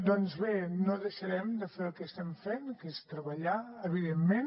doncs bé no deixarem de fer el que estem fent que és treballar evidentment